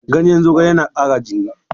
Ganyen zogale yana ƙara jini.